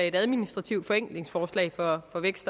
et administrativt forenklingsforslag fra